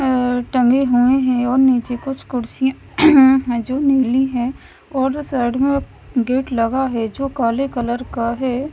अ टंगे हुए हैं और नीचे कुछ कुर्सी है जो नीली है और साइड में गेट लगा है जो काले कलर का है।